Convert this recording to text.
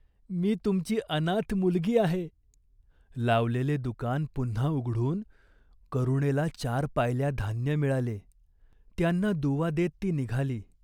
मी तुमची अनाथ मुलगी आहे." लावलेले दुकान पुन्हा उघडून करुणेला चार पायल्या धान्य मिळाले. त्यांना दुवा देत ती निघाली.